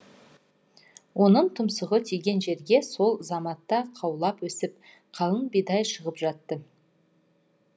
оның тұмсығы тиген жерге сол заматта қаулап өсіп қалың бидай шығып жатты